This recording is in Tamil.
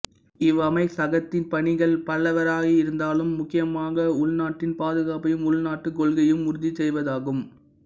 இவ்வமைச்சகத்தின் பணிகள் பல்வேறாகயிருந்தாலும் முக்கியமாக உள்நாட்டின் பாதுகாப்பையும் உள்நாட்டுக் கொள்கையையும் உறுதிசெய்வதாகும்